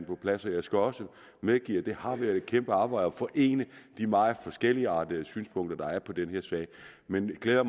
på plads og jeg skal også medgive at det har været et kæmpe arbejde at forene de meget forskelligartede synspunkter der er på den her sag men jeg glæder